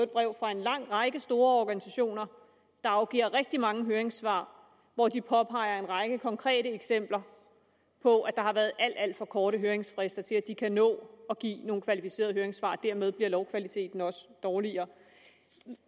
brev fra en lang række store organisationer der afgiver rigtig mange høringssvar hvori de påpeger en række konkrete eksempler på at der har været alt alt for korte høringsfrister til at de kan nå at give nogle kvalificerede høringssvar og dermed bliver lovkvaliteten også dårligere